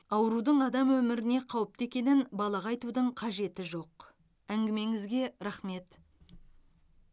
аурудың адам өміріне қауіпті екенін балаға айтудың қажеті жоқ әңгімеңізге рахмет